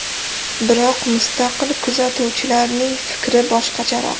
Biroq mustaqil kuzatuvchilarning fikri boshqacharoq.